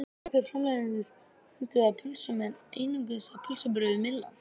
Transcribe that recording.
Nokkrir framleiðendur fundust á pylsum en einungis einn á pylsubrauðum, Myllan.